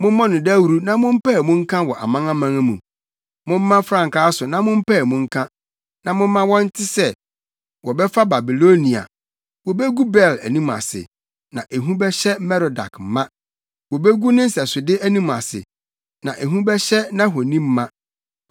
“Mommɔ no dawuru na mompae mu nka wɔ amanaman mu. Momma frankaa so na mompae mu nka; na momma wɔnte sɛ, ‘Wɔbɛfa Babilonia; wobegu Bel anim ase, na ehu bɛhyɛ Merodak ma. Wobegu ne nsɛsode anim ase na ehu bɛhyɛ nʼahoni ma.’